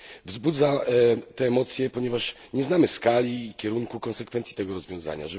Wzbudza te emocje, ponieważ nie znamy skali i kierunku konsekwencji tego rozwiązania.